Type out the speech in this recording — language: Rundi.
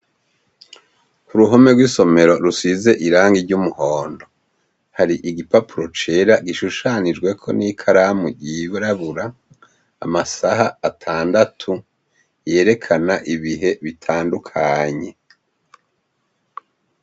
Ku ruhome rw'isomero rusize irangi ry'umuhondo hari igipapuro cera gishushanijweko n'ikaramu yirabura amasaha atandatu yerekana ibihe bitandukanye.